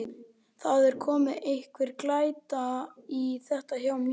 Það er að koma einhver glæta í þetta hjá mér.